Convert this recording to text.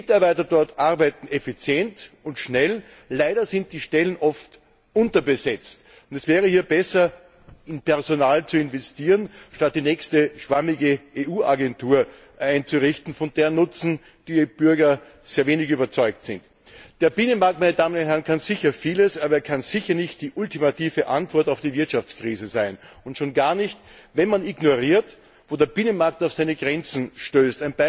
Die Mitarbeiter dort arbeiten effizient und schnell. Leider sind die Stellen oft unterbesetzt, und es wäre hier besser, in Personal zu investieren, statt die nächste schwammige EU Agentur einzurichten, von deren Nutzen die EU Bürger sehr wenig überzeugt sind. Der Binnenmarkt kann sicher vieles, aber er kann sicher nicht die ultimative Antwort auf die Wirtschaftskrise sein und schon gar nicht, wenn man ignoriert, wo der Binnenmarkt auf seine Grenzen stößt.